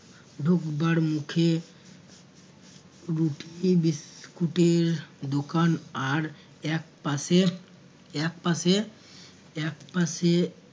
ঢোকবার মুখে রুটি বিস্কুট এর দোকান আর একপাশে একপাশে একপাশে